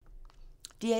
DR1